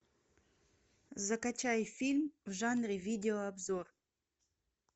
закачай фильм в жанре видеообзор